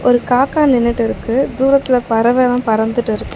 ஒரு காக்கா நின்னுட்டிருக்கு தூரத்துல பறவெல்லா பறந்துட்டிருக்கு.